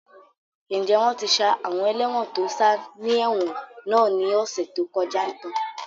Ǹjẹ́ wọ́n ti ṣá àwọn ẹlẹ́won tó sá ni ẹ̀wọ̀n náà ní ọ̀sẹ̀ tó kọjá tàn?